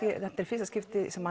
þetta er í fyrsta skipti sem